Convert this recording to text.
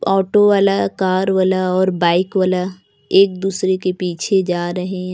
Auto वाला car वाला और बाइक वाला एक दूसरे के पीछे जा रहे हैं।